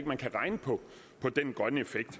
man kan regne på den grønne effekt